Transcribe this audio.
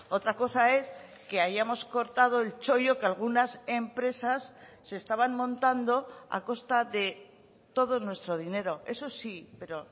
otra cosa es que hayamos cortado el chollo que algunas empresas se estaban montando a costa de todo nuestro dinero eso sí pero